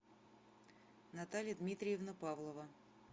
наталья дмитриевна павлова